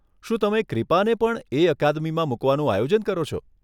શું તમે ક્રીપાને પણ એ અકાદમીમાં મુકવાનું આયોજન કરો છો?